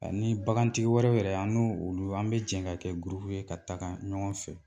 Ani bagantigi wɛrɛw yɛrɛ an n'olu an bɛ jɛ ka kɛ ye ka taga ɲɔgɔn fɛ